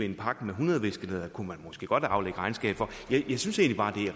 en pakke med hundrede viskelædere kunne man måske godt aflægge regnskab for jeg synes egentlig